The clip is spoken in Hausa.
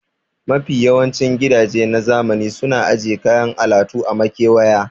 Mafi yawancin gidaje na zamani suna aje kayan alatu a makewaya